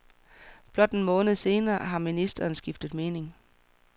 Blot en måned senere har ministeren skiftet mening.